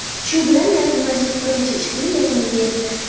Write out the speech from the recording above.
Shu bilan yalpi majlis birinchi ish kuni yakuniga yetdi.